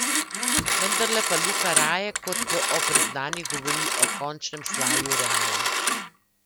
Vendarle pa Luka raje kot o priznanjih govori o končnem slavju Reala.